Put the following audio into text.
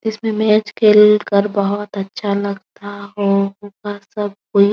इसमें मैच खेल कर बहोत अच्छा लगता है और बाहर सब कोई --